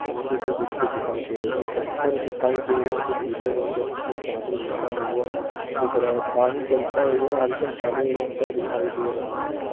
गुच्छे के गुच्छे दिखाई दे रहें है कुछ पत्थर दिखाई दे रहें है जो पीले रंग के जिसमें पानी बहता हुआ दिख रहा है। पानी चलता हुआ हलका काले रंग का दिखाई दे रहा है।